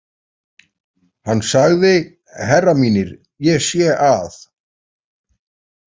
Hann sagði: Herrar mínir, ég sé að.